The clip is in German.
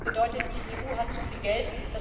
Das bedeutet, die EU hat zu viel Geld.